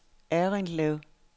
Errindlev